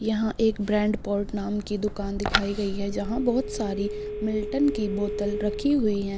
यहाँ एक brand port नाम की दुकान दिखाई गई है जहां बहुत सारी मिल्टन की बोतल रखी हुई हैं।